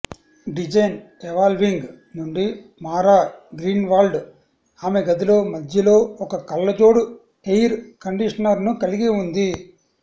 design evolving నుండి Mara Greenwald ఆమె గదిలో మధ్యలో ఒక కళ్లజోడు ఎయిర్ కండీషనర్ను కలిగి ఉంది